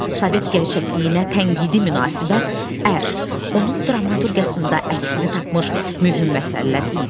Sovet gerçəkliyinə tənqidi münasibət ər onun dramaturqiyasında əksini tapmış mühüm məsələlər idi.